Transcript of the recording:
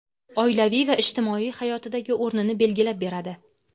oilaviy va ijtimoiy hayotidagi o‘rnini belgilab beradi.